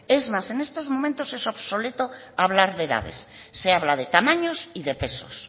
es más en estos momentos es obsoleto hablar de edades se habla de tamaños y de pesos